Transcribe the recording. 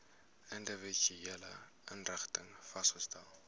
individuele inrigtings vasgestel